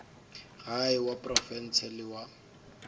gae wa profense le wa